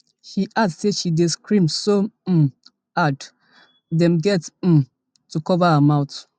she add say she dey scream so um hard dem get um to cover her mouth